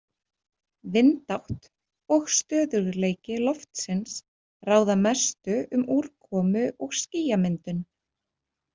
Vindátt og stöðugleiki loftsins ráða mestu um úrkomu- og skýjamyndun.